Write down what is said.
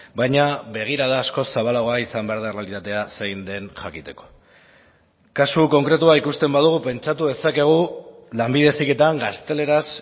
baina begirada askoz zabalagoa izan behar da errealitatea zein den jakiteko kasu konkretua ikusten badugu pentsatu dezakegu lanbide heziketan gazteleraz